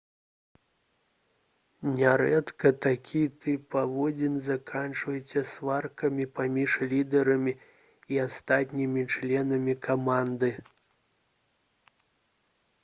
нярэдка такі тып паводзін заканчваецца сваркамі паміж лідарамі і астатнімі членамі каманды